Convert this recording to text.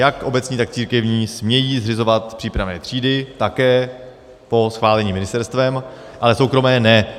Jak obecní, tak církevní smějí zřizovat přípravné třídy, také po schválení ministerstvem, ale soukromé ne.